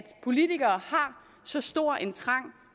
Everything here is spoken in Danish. politikere har så stor en trang